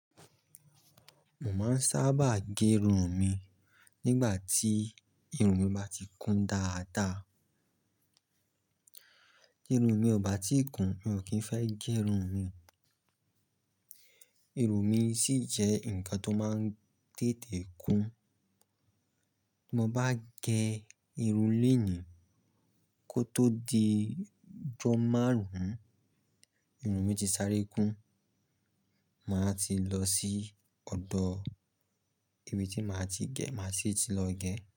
Mo máa ń sábà gé irun mi nígbà tí irun mi bá ti kún dáadáa. Irun mi ò bá ti kún, mi ò kí ń fẹ́ gé irun mi. Irun mi ṣì jẹ́ nǹkan tó máa ń tètè kún. Bí mo bá gé irun lénìí kó tó di ọjọ́ márùn-ún, irun mi ti sáré kún, màá ti lọ sí ọ̀dọ̀ èyí tí màá ti gẹ̀, màá sì ti lọ gẹ̀.